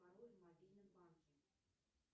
пароль в мобильном банке